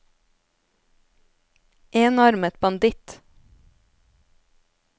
enarmet banditt